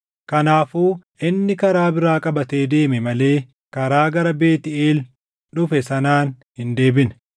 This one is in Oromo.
Kanaafuu inni karaa biraa qabatee deeme malee karaa gara Beetʼeel dhufe sanaan hin deebine.